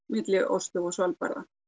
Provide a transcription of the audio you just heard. milli Osló og Svalbarða